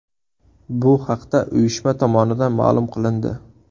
Bu haqda uyushma tomonidan ma’lum qilindi .